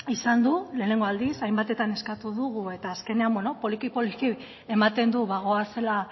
izan du lehenengo aldiz hainbatetan eskatu dugu eta azkenean bueno poliki poliki ematen du bagoazela